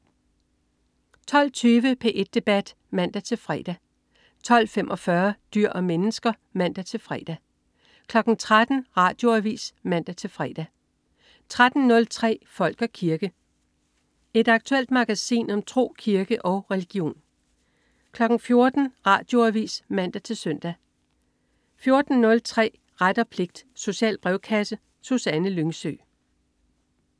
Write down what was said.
12.20 P1 debat (man-fre) 12.45 Dyr og mennesker (man-fre) 13.00 Radioavis (man-fre) 13.03 Folk og kirke. Et aktuelt magasin om tro, kirke og religion 14.00 Radioavis (man-søn) 14.03 Ret og pligt. Social brevkasse. Susanne Lyngsø